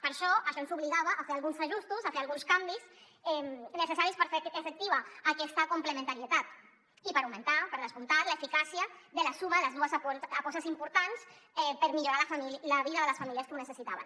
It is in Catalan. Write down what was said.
per a això això ens obligava a fer alguns ajustos a fer alguns canvis necessaris per fer efectiva aquesta complementarietat i per augmentar per descomptat l’eficàcia de la suma de les dues apostes importants per millorar la vida de les famílies que ho necessitaven